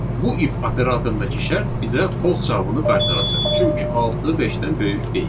Bu if operatorundakı şərt bizə false cavabını qaytaracaq, çünki altı beşdən böyük deyil.